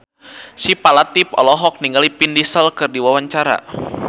Syifa Latief olohok ningali Vin Diesel keur diwawancara